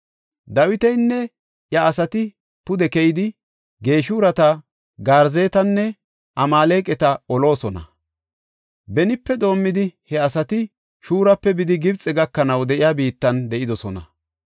Dawitinne iya asati pude keyidi, Geeshureta, Garzetanne Amaaleqata oloosona. Benipe doomidi, he asati Shuurape bidi Gibxe gakanaw de7iya biittan de7idosona.